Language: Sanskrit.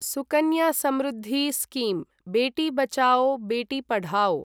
सुकन्या समृद्धि स्कीम् बेटी बचाओ बेटी पढाओ